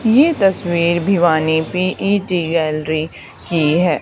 ये तस्वीर Bhiwani P E T gallery की है।